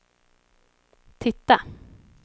titta